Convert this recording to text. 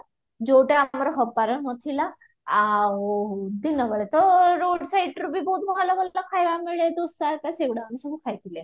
ଯୋଉଟା ଆମର ହବାର ନଥିଲା ଆଉ ଦିନବେଳେ ତ road siteରୁ ବି ବହୁତ ଭଲ ଭଲ ଖାଇବା ମିଳେ ଦୋସା ଘାରିକ ସେଗୁଡା ଆମେ ସବୁ ଖାଇଥିଲେ